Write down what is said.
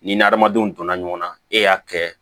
Ni n' adamadenw donna ɲɔgɔn na e y'a kɛ